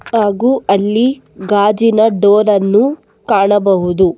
ಹಾಗೂ ಅಲ್ಲಿ ಗಾಜಿನ ಡೋರ್ ಅನ್ನು ಕಾಣಬಹುದು.